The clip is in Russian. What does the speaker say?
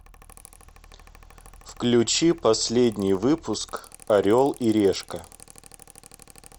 включи последний выпуск орел и решка